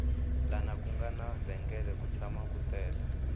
lana ku nga na vhengele ku tshama ku tele